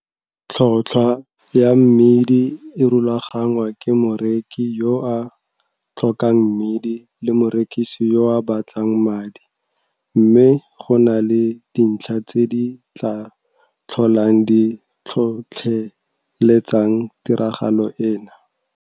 Tlhotlhwa ya mmidi e rulagangwa ke moreki yo a tlhokang mmidi le morekisi yo a batlang madi mme go na le dintlha tse di tlaa tlholang di tlhotlheletsang tiragalo ena.